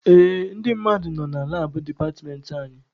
Ee, ndị mmadụ nọ na labụ departmentị anyị.